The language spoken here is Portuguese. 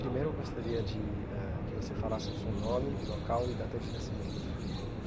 Primeiro eu gostaria de eh que você falasse o seu nome, local e data de nascimento.